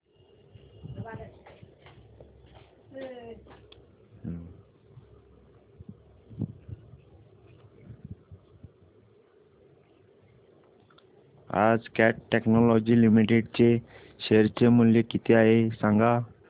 आज Cat Technologies Limited चे share चे मूल्य किती आहे सांगा